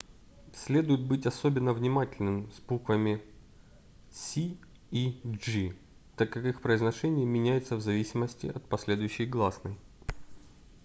следует быть особенно внимательным с буквами c и g так как их произношение меняется в зависимости от последующей гласной